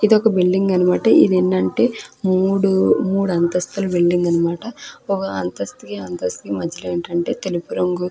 ఇది ఒక బిల్డింగ్ అనమాట ఇది ఏందంటే మూడు మూడు అంతస్తులు బిల్డింగ్ అన్నమాట అంతస్తుకి అంతస్తుకి మధ్యలో ఏంటి అంటె తెలుపు రంగు --